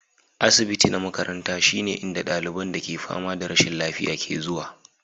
Asibiti na makaranta shine inda ɗaliban da ke fama da rashin lafiya ke zuwa.